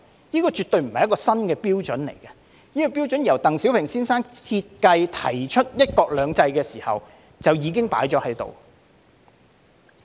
這絕對不是一個新的標準，這個標準在鄧小平先生設計和提出"一國兩制"的時候就已經訂立。